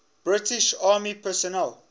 british army personnel